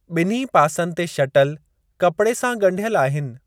ॿिन्ही पासनि ते शटल कपड़े सां ॻंढियल आहिनि।